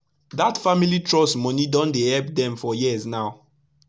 dat family trust moni don dey epp dem for years now